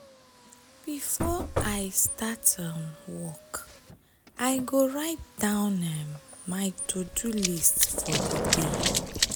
before i start um work i go write down um my to-do list for di day.